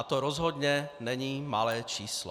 A to rozhodně není malé číslo.